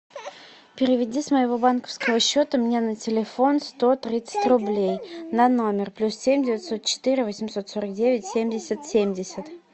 переведи с моего банковского счета мне на телефон сто тридцать рублей на номер плюс семь девятьсот четыре восемьсот сорок девять семьдесят семьдесят